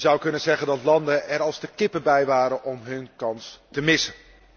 Je zou kunnen zeggen dat landen er als de kippen bij waren om hun kans te missen.